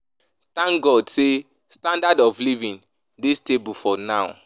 Thank God say standard of living dey stable for now